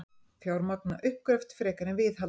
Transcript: Fjármagna uppgröft frekar en viðhald